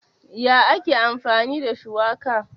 Ya ake amfani da shuwaka?